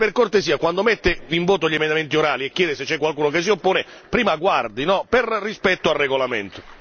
Quindi se per cortesia, quando mette in voto gli emendamenti orali e chiede se c'è qualcuno che si oppone prima guardi, per rispetto al regolamento.